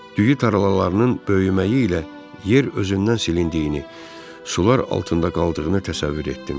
Düyü tarlalarının böyüməyi ilə yer özündən silindiyini, sular altında qaldığını təsəvvür etdim.